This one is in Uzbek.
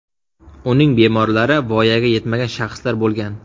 Uning bemorlari voyaga yetmagan shaxslar bo‘lgan.